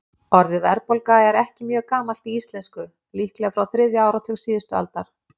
Orðið verðbólga er ekki mjög gamalt í íslensku, líklega frá þriðja áratug síðustu aldar.